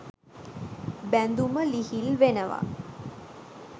බැඳුම ලිහිල් වෙනවා.